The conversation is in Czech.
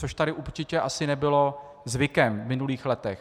Což tady určitě asi nebylo zvykem v minulých letech.